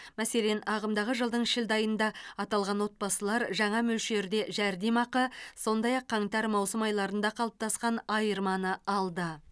мәселен ағымдағы жылдың шілде айында аталған отбасылар жаңа мөлшерде жәрдемақы сондай ақ қаңтар маусым айларында қалыптасқан айырманы алды